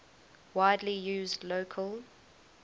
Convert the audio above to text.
widely used local